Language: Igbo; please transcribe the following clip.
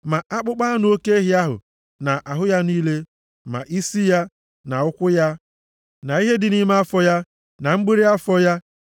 Ma akpụkpọ anụ oke ehi ahụ na ahụ ya niile, ma isi ya, na ụkwụ ya, na ihe dị nʼime afọ ya, na mgbịrị afọ ya,